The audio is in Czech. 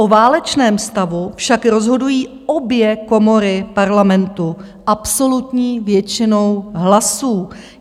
O válečném stavu však rozhodují obě komory Parlamentu absolutní většinou hlasů.